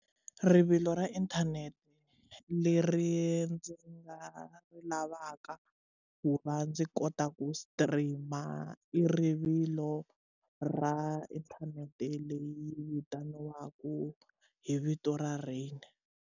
Rivilo ra inthanete leri ndzi nga ri lavaka ku va ndzi kota ku stream i rivilo ra inthanete leyi vitaniwaku hi vito ra rain.